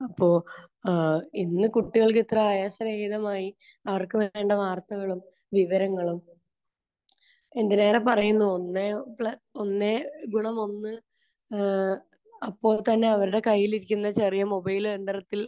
അപ്പോൾ ഏഹ് ഇന്ന് കുട്ടികൾക്ക് ഇത്ര ആയാസരഹിതമായി അവർക്ക് വേണ്ട വാർത്തകളും വിവരങ്ങളും എന്തിനേറെ പറയുന്നു ഒന്നേ പ്ല...ഒന്നേ ഗുണം ഒന്ന് ഏഹ് അപ്പോൾ തന്നെ അവരുടെ കയ്യിലിരിക്കുന്ന ചെറിയ മൊബൈൽ യന്ത്രത്തിൽ